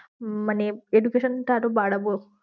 মানে education টা আরো বাড়াবো